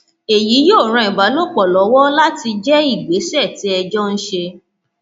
èyí yóò ran ìbálòpọ lọwọ láti jẹ ìgbésẹ tí ẹ jọ ń ṣe